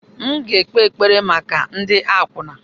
M ga-ekpe ekpere maka ndị akwụna.